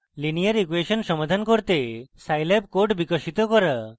linear equation সমাধান করতে scilab code বিকাশিত করা